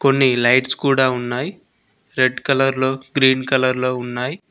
కొన్ని లైట్స్ కూడా ఉన్నాయ్ రెడ్ కలర్ లో గ్రీన్ కలర్ లో ఉన్నాయ్.